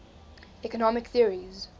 economic theories